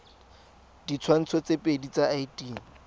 ditshwantsho tse pedi tsa id